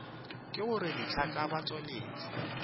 ke gore dihlaa tša batšweletši